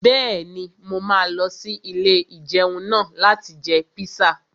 Bẹ́ẹ̀ni, mo máa lọ sí ilé-ìjẹun náà láti jẹ píṣà